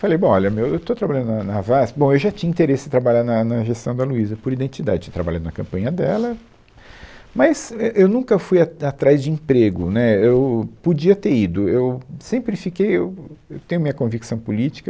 Falei, bom, olha, meu estou trabalhando na na VASP, bom, eu já tinha interesse em trabalhar na na gestão da Luísa por identidade, trabalhei na campanha dela, mas eu nunca fui atrás de emprego, né, eu podia ter ido, eu sempre fiquei, eu tenho minha convicção política,